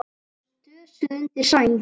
Dösuð undir sæng.